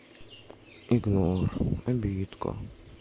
игнор обидка